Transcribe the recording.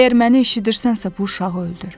Əgər məni eşidirsənsə, bu uşağı öldür.